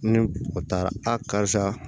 Ni o taara a karisa